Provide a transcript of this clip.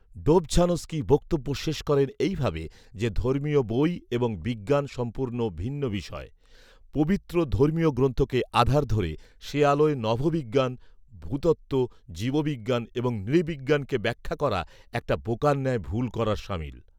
Dobzhansky বক্তব্য শেষ করেন এইভাবে যে, ধর্মীয় বই এবং বিজ্ঞান সম্পূর্ণ ভিন্ন বিষয়, "পবিত্র ধর্মীয় গ্রন্থকে আধার ধরে, সে আলোয় নভোবিজ্ঞান, ভূতত্ব, জীববিজ্ঞান এবং নৃবিজ্ঞানকে ব্যাখ্যা করা, একটা বোকার ন্যায় ভুল করার সামিল"